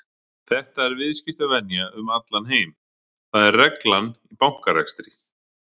Þetta er viðskiptavenja um allan heim, það er reglan í bankarekstri.